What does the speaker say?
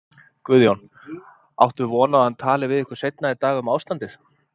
Guðjón: Áttu von á að hann tali við ykkur seinna í dag um ástandið?